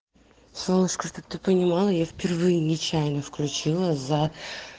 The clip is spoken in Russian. солнышко чтобы ты понимала я впервые нечаянно включила за